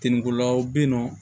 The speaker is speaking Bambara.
Tintingolaw bɛ yen nɔ